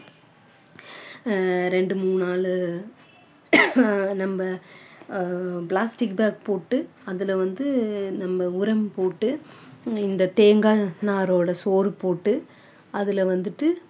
அஹ் ரெண்டு மூணு நாலு நம்ம ஆஹ் plastic bag போட்டு அதுல வந்து நம்ம உரம் போட்டு இந்த தேங்காய் நார்ரோட சோறு போட்டு அதுல வந்துட்டு